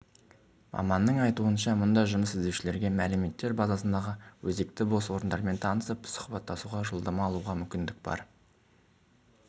маманның айтуынша мұнда жұмыс іздеушілерге мәліметтер базасындағы өзекті бос орындармен танысып сұхбаттасуға жолдама алуға мүмкіндік бар